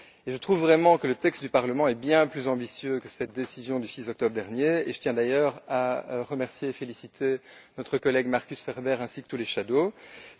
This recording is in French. Je trouve vraiment que le texte du Parlement est bien plus ambitieux que cette décision du 6 octobre dernier, et je tiens d'ailleurs à remercier et féliciter notre collègue Markus Ferber ainsi que tous les rapporteurs fictifs.